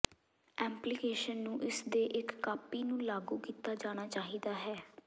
application ਨੂੰ ਇਸਦੇ ਇੱਕ ਕਾਪੀ ਨੂੰ ਲਾਗੂ ਕੀਤਾ ਜਾਣਾ ਚਾਹੀਦਾ ਹੈ